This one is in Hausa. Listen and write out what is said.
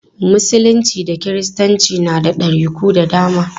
Musulunci da kiristanci na da ɗariku da dama.